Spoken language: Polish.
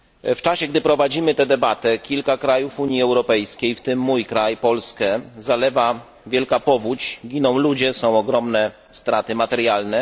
W czasie, gdy prowadzimy tę debatę, kilka krajów Unii Europejskiej, w tym mój kraj Polskę, zalewa wielka powódź, giną ludzie, są ogromne straty materialne.